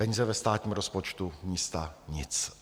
Peníze ve státním rozpočtu, místa - nic.